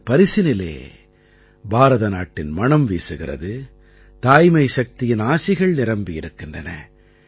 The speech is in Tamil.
இந்தப் பரிசினிலே பாரத நாட்டின் மணம் வீசுகிறது தாய்மை சக்தியின் ஆசிகள் நிரம்பியிருக்கின்றன